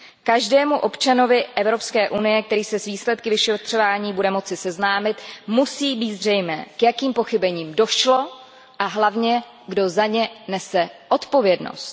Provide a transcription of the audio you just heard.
Každému občanovi EU, který se s výsledky vyšetřování bude moci seznámit, musí být zřejmé, k jakým pochybením došlo a hlavně kdo za ně nese odpovědnost.